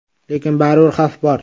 Lekin baribir xavf bor.